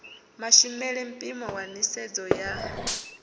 mashumele mpimo wa nisedzo ya